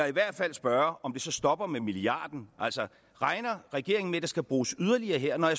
i hvert fald spørge om det så stopper med milliarden altså regner regeringen med der skal bruges yderligere her når